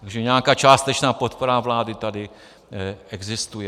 Takže nějaká částečná podpora vlády tady existuje.